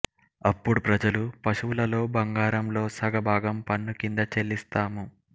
అప్పుడు ప్రజలు పశువులలో బంగారంలో సగభాగం పన్ను కింద చెల్లిస్తాము